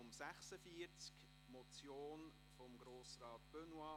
Es ist eine Motion von Grossrat Benoit: